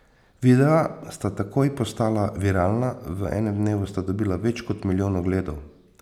Videa sta takoj postala viralna, v enem dnevu sta dobila več kot milijon ogledov.